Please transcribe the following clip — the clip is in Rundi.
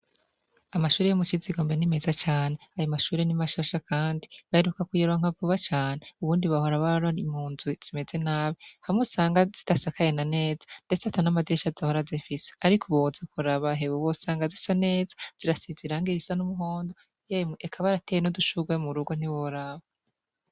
Amashure yo mu Cizigombe ni meza cane. Ayo mashure ni mashasha kandi baheruka kuyaronka vuba cane. Ubundi bahora bari mu nzu zimeze nabi, hamwe usanga zidasakaye na neza, mbere usanga atan'amadirisha usanga zifise. Ariko ubu woza kuraba hewe, wosanga zisa neza zirasize irangi risa n'umuhondo. Emwe, eka barateye n'udushurwe mu rugo ntiworaba.